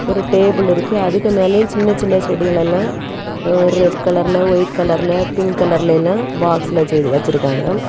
ஒரு டேபிள் இருக்கு அதுக்கு மேலயும் சின்ன சின்ன செடிகள் எல்லாம் ஓ ரெட் கலர்ல ஒயிட் கலர்ல பிங்க் கலர்ல எல்லாம் பாக்ஸ்ல செய்து வச்சிருக்காங்க.